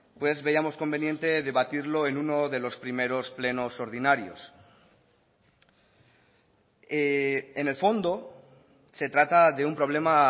pues veíamos conveniente debatirlo en uno de los primeros plenos ordinarios en el fondo se trata de un problema